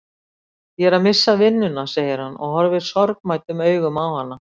Ég er að missa vinnuna, segir hann og horfir sorgmæddum augum á hana.